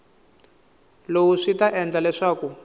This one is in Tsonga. lowu swi ta endla leswaku